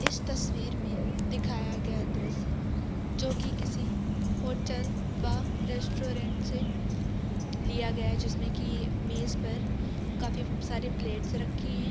इस तस्वीर में दिखाया गया दृश्य जो कि किसी हॉटेल व रेस्टोरेंट से लिया गया है जिसमें की मेज पर काफी सारे प्लेट्स रखे हैं।